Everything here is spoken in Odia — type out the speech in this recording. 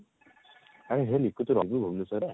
ଏ ହେ ମିକୁ ତୁ ରହିବୁ ଭୁବନେଶ୍ଵର ରେ